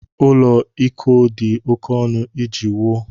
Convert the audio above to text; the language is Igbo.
Ụlọ iko dị oké ọnụ iji wuo.